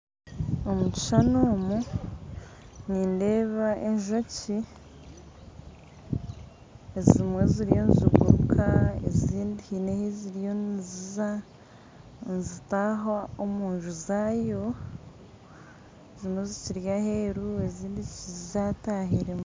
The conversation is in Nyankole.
Omu kishuushani omu nindeeba enjoki ezimwe ziriyo niziguruka ezindi haine ohu ziriyo niziiza nizitaaha omunju zaayo ezimwe zikiri aheeru ezindi zatahiiremu